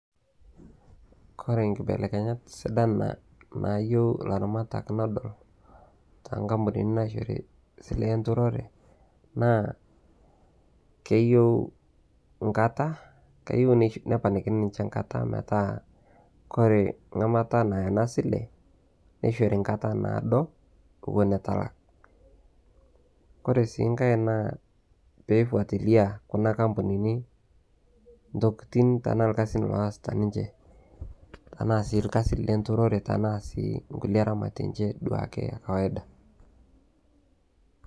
kore inkibelekenyat sidan naayieu ilaramatak nedol toonkampunini naishoru esiai enturore naa keyieu inkata keyieu neponakini ninche enkata metaa kore metlaa ena sile neishori nkata naado metalak kore sii nkae naa pei fuatilia kuna kampunini intokiting' tenaa irkasin oosita ninche tenaa irkasin lenturore tenaa sii nkulie eramatie ninche duo ake kawaida